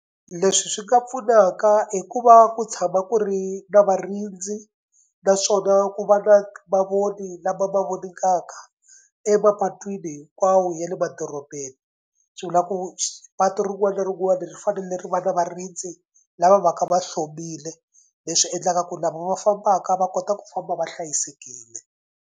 Leswi swi nga pfunaka i ku va ku tshama ku ri na varindzi naswona ku va na mavoni lama ma voningaka emapatwini hinkwawo ya le dorobeni. Swi vula ku patu ri rin'wana na rin'wana ri fanele ri va nwa varindzi lava va ka va hlomile leswi endlaka ku lava va fambaka va kota ku famba va hlayisekile.